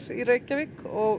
í Reykjavík og